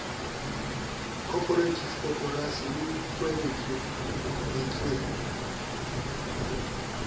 corperative koporasi le nkuwe lentsweng